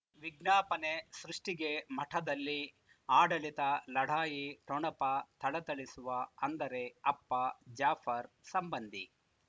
ವಿಜ್ಞಾಪನೆ ಸೃಷ್ಟಿಗೆ ಮಠದಲ್ಲಿ ಆಡಳಿತ ಲಢಾಯಿ ಠೊಣಪ ಥಳಥಳಿಸುವ ಅಂದರೆ ಅಪ್ಪ ಜಾಫರ್ ಸಂಬಂಧಿ